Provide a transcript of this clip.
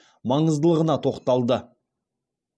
маңыздылығына тоқталды